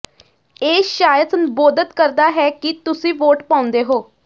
ਇਹ ਸ਼ਾਇਦ ਸੰਬੋਧਤ ਕਰਦਾ ਹੈ ਕਿ ਤੁਸੀਂ ਵੋਟ ਪਾਉਂਦੇ ਹੋ